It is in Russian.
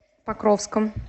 покровском